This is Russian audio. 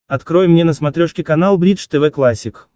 открой мне на смотрешке канал бридж тв классик